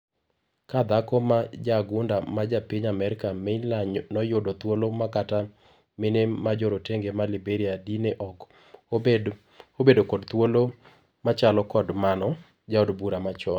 Ka dhako ma jaagunda ma japiny Amerka ,Meyler noyudo thuolo makata mine majorotenge ma Liberia di ne ok obedo kod thuolo machalo kod mano. Jaod bura machon.